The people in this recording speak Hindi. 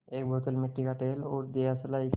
एक बोतल मिट्टी का तेल और दियासलाई की